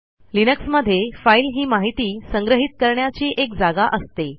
लिनक्समध्ये फाईल ही माहिती संग्रहित करण्याची एक जागा असते